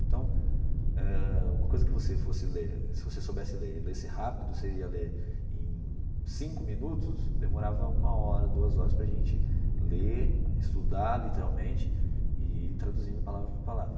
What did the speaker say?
Então eh, uma coisa que você fosse ler, se você soubesse ler e lesse rápido, você ia ler em cinco minutos, demorava uma hora, duas horas para gente ler, estudar, literalmente, e ir traduzindo palavra por palavra.